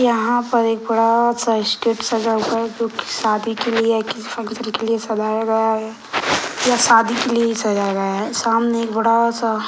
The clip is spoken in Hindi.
यहाँ पर एक बड़ा फुर्स्टाटे सजा हुआ है जो की शादी के लिए के लिए सजाया गया है या शादी के लिए ही सजाया गया है | सामने एक बड़ा सा --